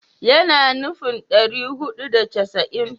Yana nufin ɗari hudu da casa'in